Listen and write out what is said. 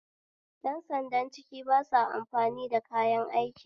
Yan sandan ciki basa amfani da kayan aiki